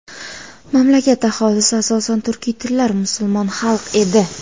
Mamlakat aholisi asosan turkiy tilli musulmon xalq edi.